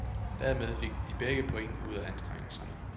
Dermed fik de begge point ud af anstrengelserne.